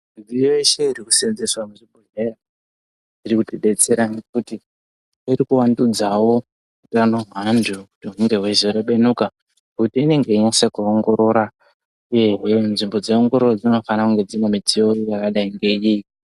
Midziyo yese iri kusenzeswa muzvibhedhlera iri kuti detsera ngekuti kuvandudzawj hutano hwevantu unenge weinyasa kuongorora nzvimbo dzeiomgorora dzinofana ngeiyi.